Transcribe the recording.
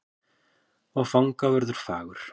Og fangavörður fagur.